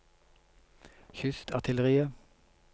kystartilleriet